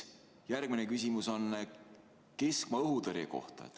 Järgmine küsimus on keskmaa-õhutõrje kohta.